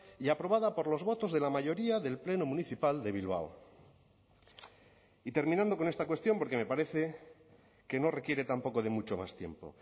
y aprobada por los votos de la mayoría del pleno municipal de bilbao y terminando con esta cuestión porque me parece que no requiere tampoco de mucho más tiempo